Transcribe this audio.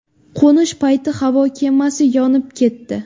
Qo‘nish payti havo kemasi yonib ketdi.